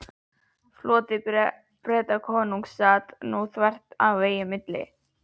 Floti Bretakonungs sat nú þvert í vegi milli